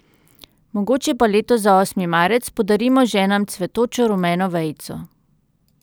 Mogoče pa letos za osmi marec podarimo ženam cvetočo rumeno vejico.